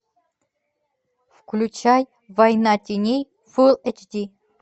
включай война теней фул эйч ди